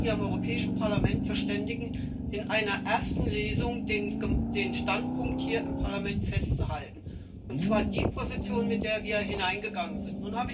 im Europäischen Parlament verständigen, in einer ersten Lesung den Standpunkt hier im Parlament festzuhalten und zwar die Position, mit der wir hineingegangen sind.